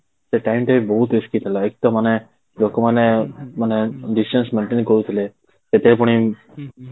ସେ time ଟା ବି ବହୁତ risky ଥିଲା ମାନେ ଏକଦମ ମାନେ ଲୋକମାନେ ମାନେ distance maintain କରୁଥିଲେ ସେଥିରେ ପୁଣି